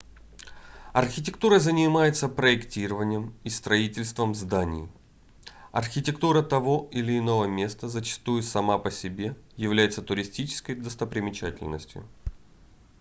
архитектура занимается проектированием и строительством зданий архитектура того или иного места зачастую сама по себе является туристической достопримечательностью